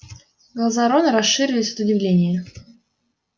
глаза рона расширились от удивления